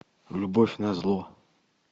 любовь назло